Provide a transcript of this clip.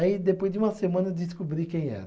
Aí depois de uma semana eu descobri quem era.